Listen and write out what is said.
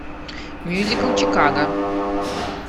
мюзикл чикаго